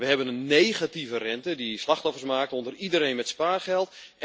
We hebben een negatieve rente die slachtoffers maakt onder iedereen met spaargeld.